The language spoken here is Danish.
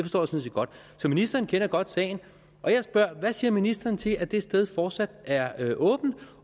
sådan set godt så ministeren kender godt sagen jeg spørger hvad siger ministeren til at det sted fortsat er åbent